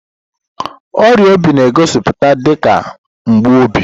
Ọrịa obi na-egosipụta dị ka mgbu obi.